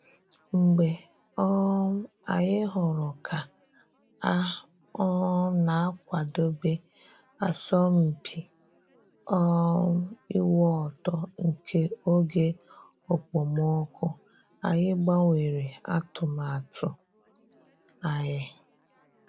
Mgbe um anyị hụrụ ka a um na akwadebe asọmpi um ịwụ ọtọ nke oge okpomọkụ, anyị gbanwere atụmatụ anyị